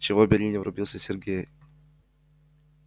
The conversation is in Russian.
чего бери не врубился сергей